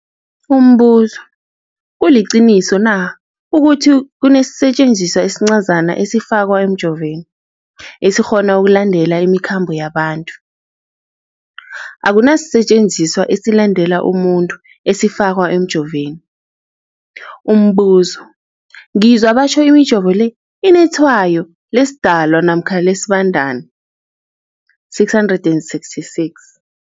Umbuzo, kuliqiniso na ukuthi kunesisetjenziswa esincazana esifakwa emijovweni, esikghona ukulandelela imikhambo yabantu? Akuna sisetjenziswa esilandelela umuntu esifakwe emijoveni. Umbuzo, ngizwa batjho imijovo le inetshayo lesiDalwa namkha lesiBandana, 666.